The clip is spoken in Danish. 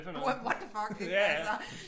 What what the fuck ik altså